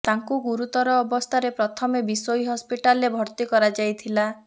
ତାଙ୍କୁ ଗୁରୁତର ଅବସ୍ଥାରେ ପ୍ରଥମେ ବିଶୋଇ ହସ୍ପିଟାଲରେ ଭର୍ତ୍ତି କରାଯାଇଥିଲା